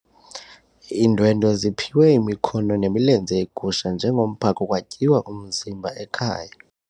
Iindwendwe ziphiwe imikhono nemilenze yegusha njengomphako kwatyiwa umzimba ekhaya.